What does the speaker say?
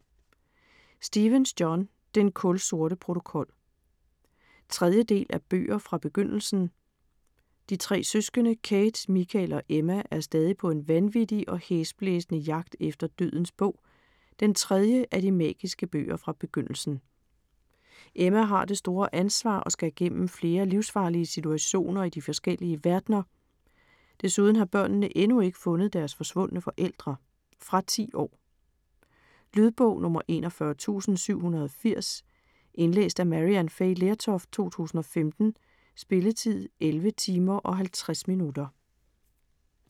Stephens, John: Den kulsorte protokol 3. del af Bøger fra Begyndelsen. De tre søskende, Kate, Michael og Emma er stadig på en vanvittig og hæsblæsende jagt efter Dødens bog, den tredje af de magiske bøger fra Begyndelsen. Emma har det store ansvar og skal gennem flere livsfarlige situationer i de forskellige verdener. Desuden har børnene endnu ikke fundet deres forsvundne forældre. Fra 10 år. Lydbog 41780 Indlæst af Maryann Fay Lertoft, 2015. Spilletid: 11 timer, 50 minutter.